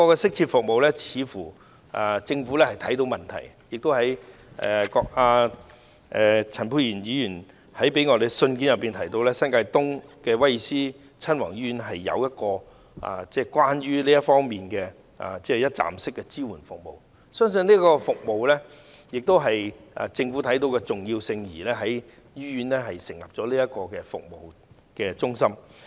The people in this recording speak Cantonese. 政府似乎亦看到有需要提供這方面的適切服務，陳沛然議員在給我們的信件中提到，新界東的威爾斯親王醫院有提供這方面的一站式支援服務，相信這正是政府看到其重要性而在醫院成立的服務支援中心。